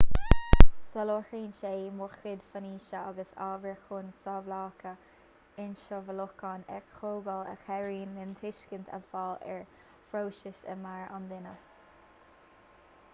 soláthraíonn sé mórchuid faisnéise agus ábhair chun samhlacha ionsamhlúcháin a thógáil a chabhraíonn linn tuiscint a fháil ar phróisis i meabhair an duine